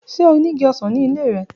Ṣe o ni igi osan ni ile rẹ?